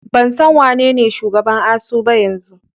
Ban san wanene shugaban ASUU ba yanzu.